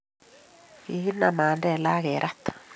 kikinam Mandela akerat